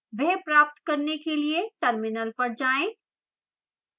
वह प्राप्त करने के लिए terminal पर जाएं